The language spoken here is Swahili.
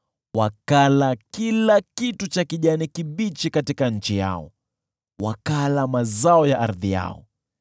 wakala kila jani katika nchi yao, wakala mazao ya ardhi yao.